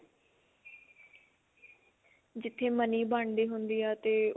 ਜਿੱਥੇ money ਬਣਦੀ ਹੁੰਦੀ ਏ ਤੇ